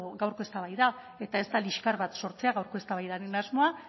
gaurko eztabaida eta ez da liskar bat sortzea gaurkoaren asmoa